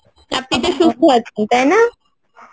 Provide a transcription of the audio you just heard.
আপনিতো সুস্থ আছেন তাইনা?